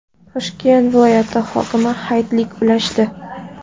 Toshkent viloyati hokimi hayitlik ulashdi.